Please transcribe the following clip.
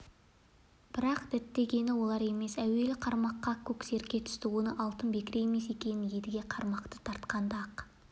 бірақ діттегені олар емес әуелі қармаққа көксерке түсті оның алтын бекіре емес екенін едіге қармақты тартқанда-ақ